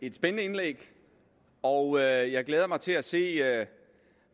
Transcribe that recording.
et spændende indlæg og jeg glæder mig til at se